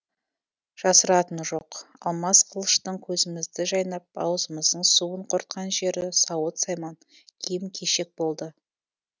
жасыратыны жоқ алмас қылыштың көзімізді жайнап аузымыздың суын құртқан жері сауыт сайман киім кешек болды